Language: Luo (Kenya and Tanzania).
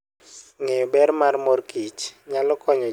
Ng'eyo ber mar mor kich nyalo konyo ji ngeyo ber mar mor kich.